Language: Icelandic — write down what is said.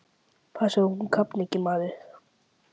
Passaðu að hún kafni ekki, maður!